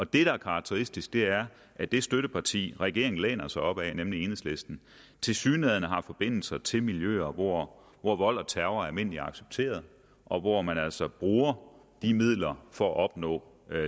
det der er karakteristisk er at det støtteparti regeringen læner sig op ad nemlig enhedslisten tilsyneladende har forbindelser til miljøer hvor hvor vold og terror er almindeligt accepteret og hvor man altså bruger de midler for at opnå